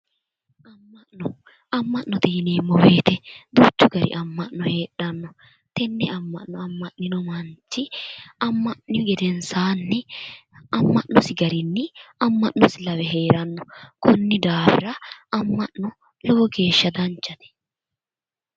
Ama'note yineemo woyite duuchu gari ama'no heedhanno tenne ama'no ama'nino manchi ama'ni gedensaanni ama'nosi garinni ama'nosi lawe heeranno konni daafira ama'no lowo geeshsha danchate